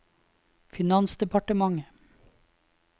finansdepartementet